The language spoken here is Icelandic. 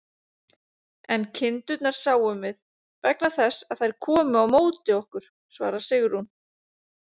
En kindurnar sáum við, vegna þess að þær komu á móti okkur, svarar Sigrún.